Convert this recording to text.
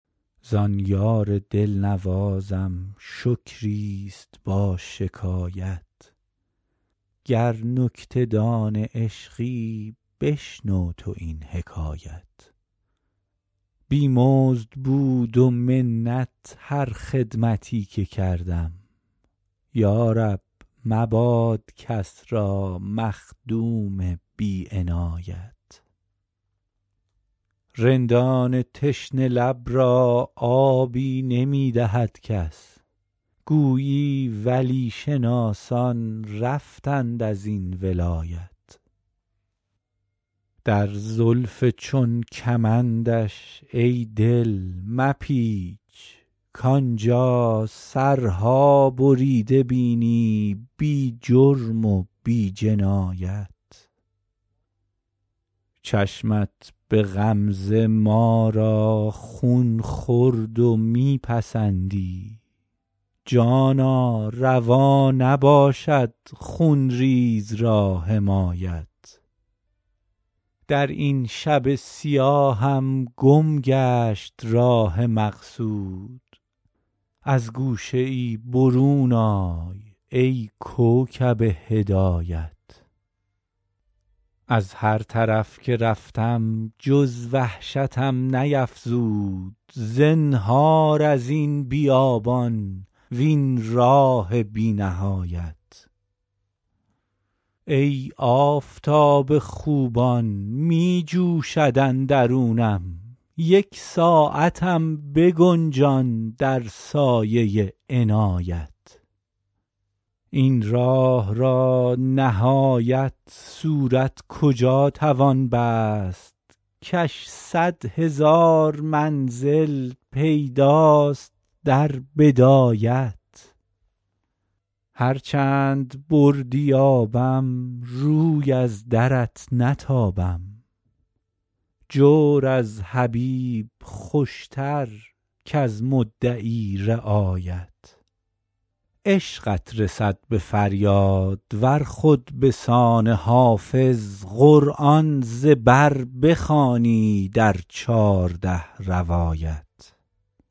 زان یار دل نوازم شکری است با شکایت گر نکته دان عشقی بشنو تو این حکایت بی مزد بود و منت هر خدمتی که کردم یا رب مباد کس را مخدوم بی عنایت رندان تشنه لب را آبی نمی دهد کس گویی ولی شناسان رفتند از این ولایت در زلف چون کمندش ای دل مپیچ کآن جا سرها بریده بینی بی جرم و بی جنایت چشمت به غمزه ما را خون خورد و می پسندی جانا روا نباشد خون ریز را حمایت در این شب سیاهم گم گشت راه مقصود از گوشه ای برون آی ای کوکب هدایت از هر طرف که رفتم جز وحشتم نیفزود زنهار از این بیابان وین راه بی نهایت ای آفتاب خوبان می جوشد اندرونم یک ساعتم بگنجان در سایه عنایت این راه را نهایت صورت کجا توان بست کش صد هزار منزل بیش است در بدایت هر چند بردی آبم روی از درت نتابم جور از حبیب خوش تر کز مدعی رعایت عشقت رسد به فریاد ار خود به سان حافظ قرآن ز بر بخوانی در چارده روایت